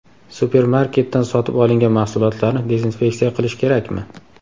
Supermarketdan sotib olingan mahsulotlarni dezinfeksiya qilish kerakmi?.